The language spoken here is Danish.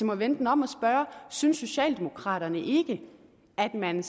må vende den om og spørge synes socialdemokraterne ikke at man